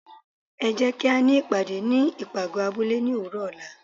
é jé kí á ní ìpàdé ní ipágọ abúle ní òwúrò ola